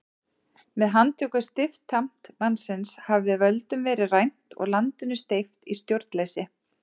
Með handtöku stiftamtmannsins hafði völdum verið rænt og landinu steypt í stjórnleysi.